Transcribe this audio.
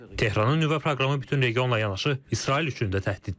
Tehranın nüvə proqramı bütün regionla yanaşı, İsrail üçün də təhdiddir.